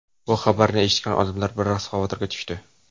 Bu xabarni eshitgan odamlar biroz xavotirga tushdi.